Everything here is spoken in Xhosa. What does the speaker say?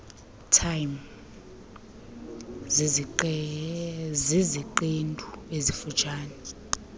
time ziziqendu ezifutshane